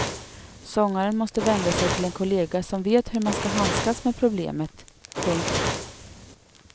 Sångaren måste vända sig till en kollega som vet hur man ska handskas med problemet. punkt